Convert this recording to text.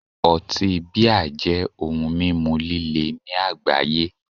Otí 'Beer' jẹ́ ohun mímu líle ní àgbáyé